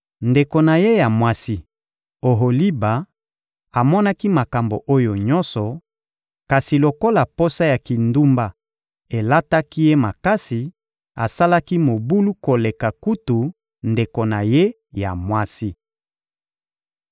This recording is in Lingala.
Ndeko na ye ya mwasi, Oholiba, amonaki makambo oyo nyonso; kasi lokola posa ya kindumba elataki ye makasi, asalaki mobulu koleka kutu ndeko na ye ya mwasi.